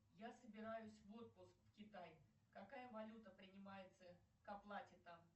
я собираюсь в отпуск в китай какая валюта принимается к оплате там